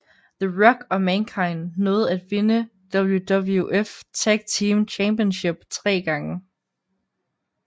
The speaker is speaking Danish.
The Rock og Mankind nåede at vinde WWF Tag Team Championship tre gange